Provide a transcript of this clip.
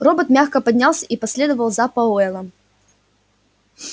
робот мягко поднялся и последовал за пауэллом